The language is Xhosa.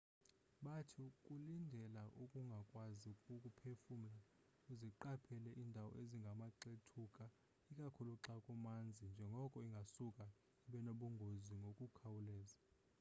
bathi kulindela ukungakwazi ukuphefumla uziqaphele indawo ezingamaxethuka ikakhulu xa kumanzi njengoko ingasuka ibenobungozi ngokukhawuleza